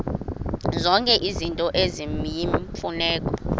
zonke izinto eziyimfuneko